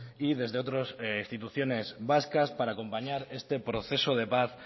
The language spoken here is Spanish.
y desde otras instituciones vascas para acompañar este proceso de paz